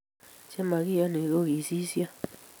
chemakiyoni ko kikisisyo